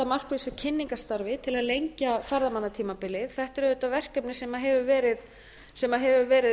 markvissu kynningarstarfi til að lengja ferðamannatímabilið þetta er auðvitað verkefni sem hefur verið